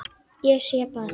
Ég sé bara þig!